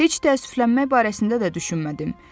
Heç təəssüflənmək barəsində də düşünmədim.